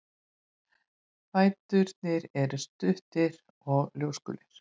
Fæturnir eru stuttir og ljósgulir.